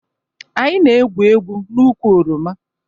Anyị na-egwu egwu n'ukwu oroma